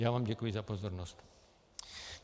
Já vám děkuji za pozornost.